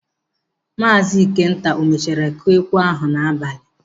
Maazị Ikenta o mechara kụọ ekwe ahụ n'abalị?